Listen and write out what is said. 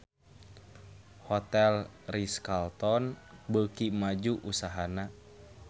Hotel Ritz-Carlton beuki maju usahana